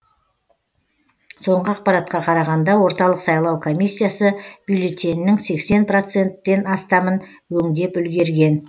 соңғы ақпаратқа қарағанда орталық сайлау комиссиясы бюллетеннің сексен проценттен астамын өңдеп үлгерген